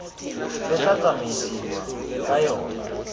le tla tsamaisiwang ka yona